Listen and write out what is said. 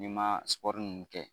N'i ma ninnu kɛ